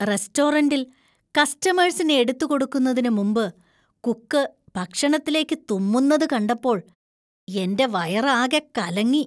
റസ്‌റ്റോറന്‍റില്‍ കസ്റ്റമേഴ്‌സിന് എടുത്ത് കൊടുക്കുന്നതിന് മുമ്പ് കുക്ക് ഭക്ഷണത്തിലേക്കു തുമ്മുന്നത് കണ്ടപ്പോൾ എന്‍റെ വയറാകെ കലങ്ങി.